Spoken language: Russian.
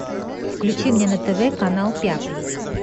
включи мне на тв канал пятый